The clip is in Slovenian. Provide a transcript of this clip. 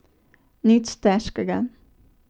Nič težkega.